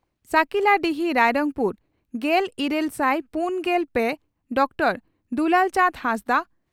ᱥᱟᱹᱠᱤᱞᱟᱰᱤᱦᱤ ᱨᱟᱭᱨᱚᱝᱯᱩᱨ᱾ᱜᱮᱞ ᱤᱨᱟᱹᱞ ᱥᱟᱭ ᱯᱩᱱᱜᱮᱞ ᱯᱮ ᱹ ᱰᱚᱠᱴᱚᱨ ᱫᱩᱞᱟᱞ ᱪᱟᱸᱫᱽ ᱦᱟᱸᱥᱫᱟᱜ